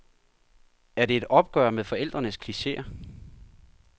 Er det et opgør med forældrenes klicheer?